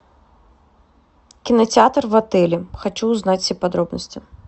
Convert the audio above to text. кинотеатр в отеле хочу узнать все подробности